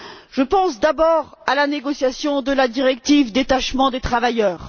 Je pense d'abord à la négociation de la directive sur le détachement des travailleurs.